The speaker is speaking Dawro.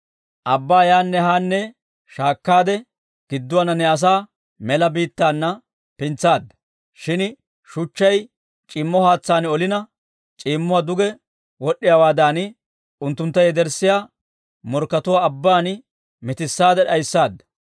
Abbaa yaanne haanne shaakkaade, gidduwaana ne asaa mela biittaana pintsaadda. Shin shuchchay c'iimmo haatsaan olina, c'iimmuwaa duge wod'd'iyaawaadan, unttunttu yederssiyaa morkkatuwaa abbaan mitissaade d'ayssaada.